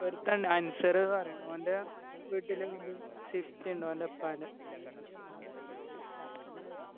ഒരുത്തൻ ഇണ്ട് അൻസർ ന്ന് പറയ്ന്ന് ഓൻ്റെ വീട്ടില് ഒരു swift ഇണ്ട് ഓൻ്റെ ഉപ്പാൻ്റെ